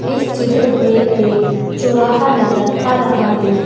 इस चित्र में एक चौराहा नजर आ रहा है।